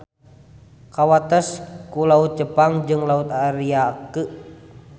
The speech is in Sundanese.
Kawates ku Laut Jepang jeung Laut Ariake.